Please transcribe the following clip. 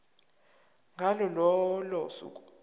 ngalo lolo suku